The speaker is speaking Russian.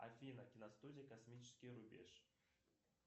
афина киностудия космический рубеж